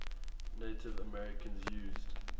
native americans used